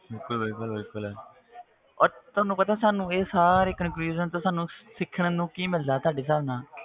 ਬਿਲਕੁਲ ਬਿਲਕੁਲ ਬਿਲਕੁਲ ਔਰ ਤੁਹਾਨੂੰ ਪਤਾ ਸਾਨੂੰ ਇਹ ਸਾਰੇ conclusion ਤੋਂ ਸਾਨੂੰ ਸਿੱਖਣ ਨੂੰ ਕੀ ਮਿਲਦਾ ਤੁਹਾਡੇ ਹਿਸਾਬ ਨਾਲ,